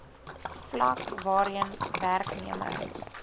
vlak waarheen werknemer